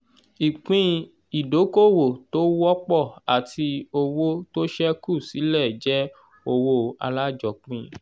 ìpín ìdókoòwò tó wọ́pọ̀ àti owó tó ṣẹ́kù sílẹ̀ jẹ́ owó alájọpín